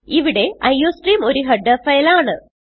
ഇവിടെ അയോസ്ട്രീം ഒരു header file ആണ്